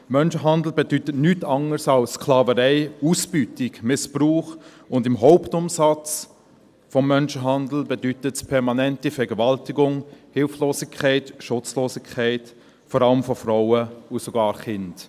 Menschenhandel bedeutet nichts anders als Sklaverei, Ausbeutung, Missbrauch, und im Hauptumsatz des Menschenhandels bedeutet es permanente Vergewaltigung, Hilflosigkeit, Schutzlosigkeit, vor allem von Frauen und sogar Kindern.